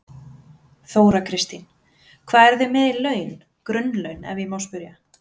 Þóra Kristín: Hvað eru þið með í laun, grunnlaun ef ég má spyrja?